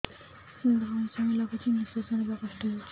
ଧଇଁ ସଇଁ ଲାଗୁଛି ନିଃଶ୍ୱାସ ନବା କଷ୍ଟ ହଉଚି